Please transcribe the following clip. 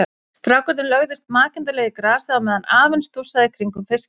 Strákarnir lögðust makindalega í grasið á meðan afinn stússaði í kringum fiskinn.